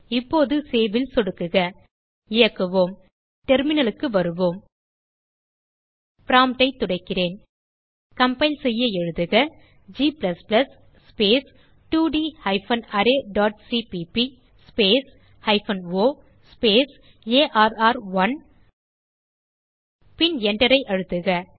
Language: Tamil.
இப்போது Saveல் சொடுக்குக இயக்குவோம் terminalக்கு வருவோம் promptஐ துடைக்கிறேன் கம்பைல் செய்ய எழுதுக g ஸ்பேஸ் 2ட் hyphen array dot CPP hyphen o space ஆர்1 பின் Enter ஐ அழுத்துக